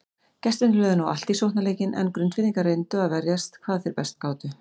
Gestirnir lögðu nú allt í sóknarleikinn en Grundfirðingar reyndu að verjast hvað best þeir gátu.